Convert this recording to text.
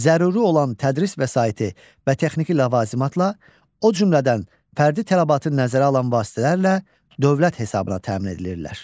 Zəruri olan tədris vəsaiti və texniki ləvazimatla, o cümlədən fərdi tələbatı nəzərə alan vasitələrlə dövlət hesabına təmin edilirlər.